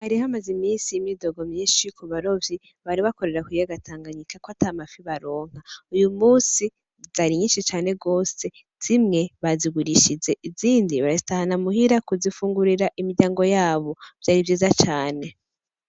Hari hamaze iminsi imyidogo myinshi kubarovyi ,bari bakorera kukiyaga Tanganyika ko ntamafi baronka , uyumunsi zari nyinshi cane gose zimwe bazigurishije izindi bazitahana imuhira kuzifungurira imiryango yabo, vyari vyiza cane .